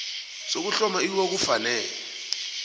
sokuhloma iwua kufanele